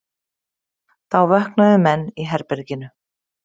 Þá vöknuðu menn í herberginu.